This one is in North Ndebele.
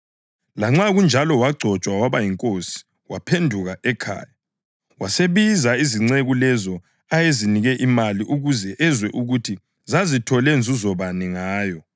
Lanxa kunjalo wagcotshwa waba yinkosi, waphenduka ekhaya. Wasebiza izinceku lezo ayezinike imali ukuze ezwe ukuthi zazithole nzuzo bani ngayo.